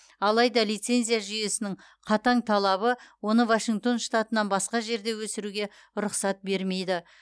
алайда лицензия жүйесінің қатаң талабы оны вашингтон штатынан басқа жерде өсіруге рұқсат бермейді